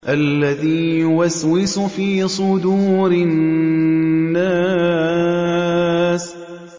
الَّذِي يُوَسْوِسُ فِي صُدُورِ النَّاسِ